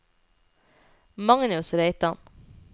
Magnus Reitan